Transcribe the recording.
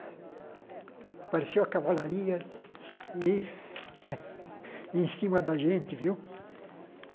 Apareceu a Cavalaria em em cima da gente, viu?